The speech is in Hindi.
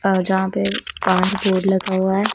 और यहां पे लगा हुआ है।